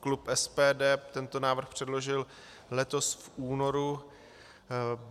Klub SPD tento návrh předložil letos v únoru.